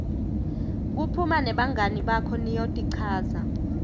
kuphuma nebangani bakho niyotichaza